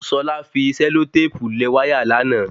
Ṣọlá fi sẹlotépù lẹ̀ wáyà lánàá